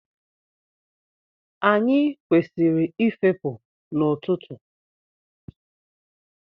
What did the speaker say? Anyị kwesịrị ị fepụ n'ọtụtụ.